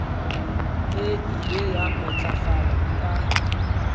e ile ya matlafala ka